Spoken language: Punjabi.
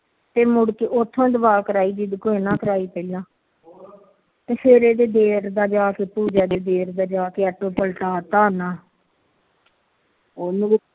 ਫਿਰ ਮੁੜ ਕੇ ਉਥੋ ਦਵਾ ਕਰਾਈ ਪੀ ਫਿਰ ਇਹਦੇ ਦੇਵਰ ਜਾਕੇ ਦੇਵਰ ਦਾ ਜਾਕੇ ਆਟੋ ਪਲਟਾਤਾ ਉਹਨੂੰ ਵੀ